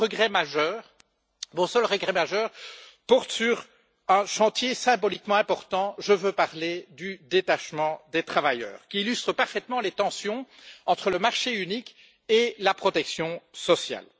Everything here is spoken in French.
Mon seul regret majeur porte sur un chantier symboliquement important je veux parler du détachement des travailleurs, qui illustre parfaitement les tensions entre marché unique et protection sociale.